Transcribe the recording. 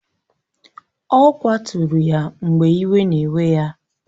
Ọ kwaturu ya mgbe iwe na-ewe ya